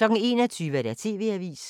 21:00: TV-avisen